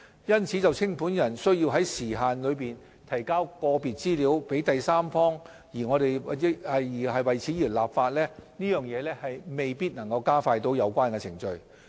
因此，就清盤人須在時限內提交個別資料予第三方而立法，亦未必能加快有關程序。